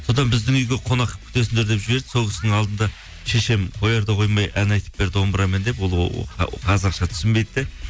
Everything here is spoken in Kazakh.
содан біздің үйге қонақ күтесіңдер деп жіберді сол кісінің алдында шешем қояр да қоймай ән айтып бер домбырамен деп ол қазақша түсінбейді де